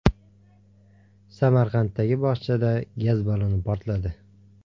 Samarqanddagi bog‘chada gaz balloni portladi.